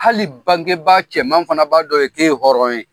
Hali bangebaa cɛman fana b'a dɔn i ye, k'e ye hɔrɔn ye.